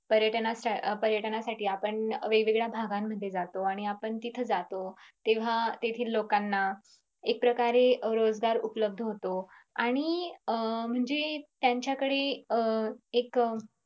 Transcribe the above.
पर्यटन पर्यटनासाठी आपण वेगवेगळ्या भागांमध्ये जातो आणि आपण तिथं जातो तेव्हा तेथील लोकांना एकप्रकारे रोजगार उपलब्ध होतो आणि अह म्हणजे त्यांच्याकडे अं एक